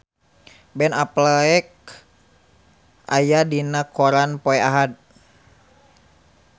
Ben Affleck aya dina koran poe Ahad